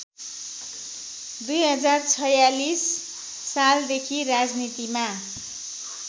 २०४६ सालदेखि राजनीतिमा